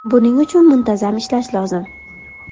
Buning uchun muntazam ishlash lozim.